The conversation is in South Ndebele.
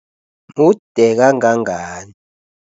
Mude kangangani?